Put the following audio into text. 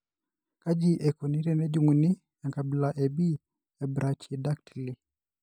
Kaji eikoni tenejung'uni enkabila e B ebrachydactyly?